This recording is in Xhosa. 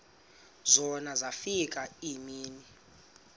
zona zafika iimini